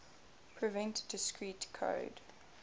prevent discrete code